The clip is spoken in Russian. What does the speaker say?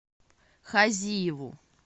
хазиеву